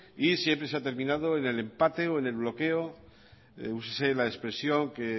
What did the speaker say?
y siempre se ha terminado en el empate o en el bloqueo úsese la expresión que